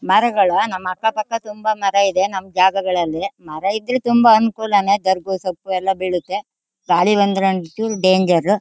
ಮರಗಳು ನಮ್ ಅಪ್ಪ ತಕ ತುಂಬಾ ಮರ ಇದೆ ನಮ್ ಜಾಗಗಳಲ್ಲಿ ಮರ ಇದ್ರೆ ತುಂಬಾ ಅನುಕೂಲಾನೇ ದರ್ಬು ಸೊಪ್ಪು ಎಲ್ಲಾ ಬೆಳಿತೆ ಗಾಳಿ ಬಂದ್ರೆ ಒಂದ್ಚೂರ್ ಡೇನ್ಜರ್ರು .